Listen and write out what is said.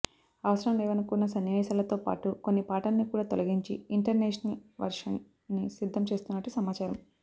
అవసరం లేవనుకున్న సన్నివేశాలతో పాటు కొన్ని పాటలని కూడా తొలగించి ఇంటర్నేషనల్ వర్షెన్ ని సిద్ధం చేస్తున్నట్టు సమాచారం